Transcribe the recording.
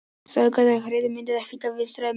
Sogið er til hægri á myndinni og Hvítá vinstra megin.